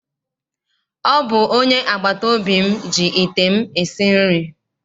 Ọ bụ onye agbataobi m ji ite m esi nri.